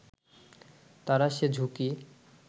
তারা সে ঝুঁকি